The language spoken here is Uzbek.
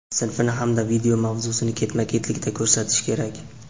sinfini hamda video mavzusini ketma-ketlikda ko‘rsatishi kerak.